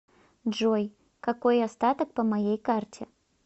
джой какой остаток по моей карте